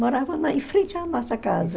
Moravam na em frente à nossa casa.